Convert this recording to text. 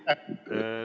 Aitäh!